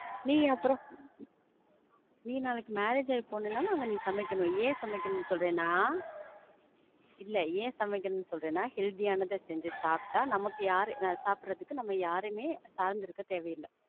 நீ அப்புறம், நீ நாளைக்கு marriage ஆகி போனனாலும் நீ அங்க சமைக்கணும். ஏன் சமைக்கணும்ன்னு சொல்றேனா, இல்ல ஏன் சமைக்கணும் சொல்றேனா, healthy ஆனத செஞ்சி சாப்பிட்டா, நமக்கு யாரையும், ஆஹ் சாப்பிடுறதுக்கு நம்ம யாரையுமே சார்ந்திருக்க தேவையில்ல.